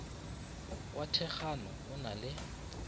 wa thekgano o na le